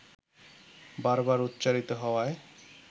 বার বার উচ্চারিত হওয়ায়